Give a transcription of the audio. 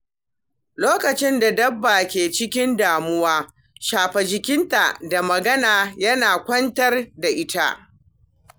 Lokacin da dabba ke cikin damuwa, shafa jikinta da magana yana kwantar da ita.